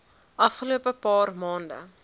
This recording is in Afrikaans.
afgelope paar maande